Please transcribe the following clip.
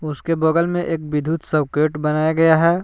उसके बगल में एक विद्युत सर्किट बनाया गया है।